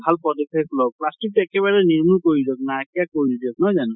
ভাল পদক্ষেপ লʼক বা plastic তো একেবাৰে নিৰ্মুল কৰি দিয়ক, নাইকীয়া কৰি দিয়ক । নহয় জানো ?